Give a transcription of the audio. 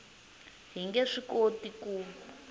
hi nge swi koti ku